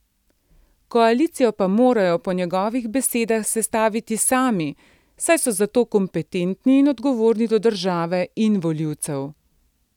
Koalicijo pa morajo po njegovih besedah sestaviti sami, saj so za to kompetentni in odgovorni do države in volivcev.